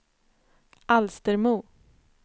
Alstermo